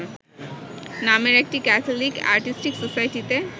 নামের একটি Catholic artistic সোসাইটিতে